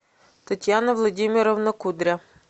татьяна владимировна кудря